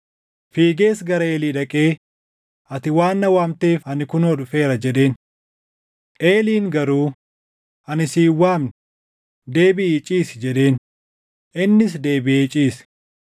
Fiigees gara Eelii dhaqee, “Ati waan na waamteef ani kunoo dhufeera” jedheen. Eeliin garuu, “Ani si hin waamne; deebiʼii ciisi” jedheen; innis deebiʼee ciise.